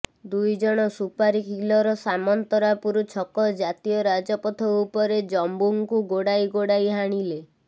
ଦୁଇ ଜଣ ସୁପାରୀ କିଲର ସାମନ୍ତରାପୁର ଛକ ଜାତୀୟ ରାଜପଥ ଉପରେ ଜମ୍ବୁଙ୍କୁ ଗୋଡ଼ାଇ ଗୋଡ଼ାଇ ହାଣିଲେ